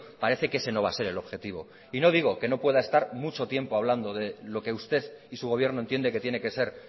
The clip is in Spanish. parece que ese no va a ser el objetivo y no digo que no pueda estar mucho tiempo hablando de lo que usted y su gobierno entiende que tiene que ser